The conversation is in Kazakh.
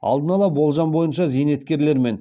алдын ала болжам бойынша зейнеткер мен